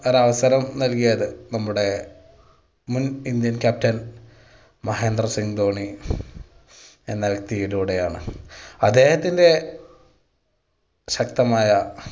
ഒരു അവസരം നൽകിയത്. നമ്മുടെ മുൻ ഇന്ത്യൻ captain മഹേന്ദ്ര സിംഗ് ധോണി എന്ന വ്യക്തിയിലൂടെയാണ്, അദ്ദേഹത്തിൻ്റെ ശക്തമായ